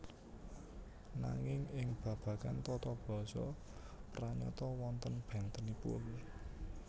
Nanging ing babagan tata basa pranyata wonten bèntenipun